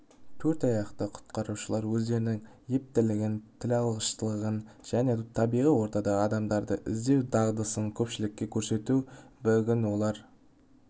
төрт аяқты құтқарушылар өздерінің ептілігін тілалғыштығын және табиғи ортада адамдарды іздеу дағдысын көпшілікке көрсетті бүгін олар